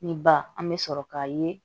Ni ba an bɛ sɔrɔ k'a ye